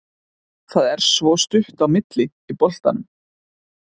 Það er svo stutt á milli í boltanum.